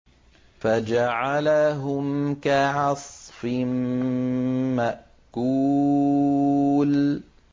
فَجَعَلَهُمْ كَعَصْفٍ مَّأْكُولٍ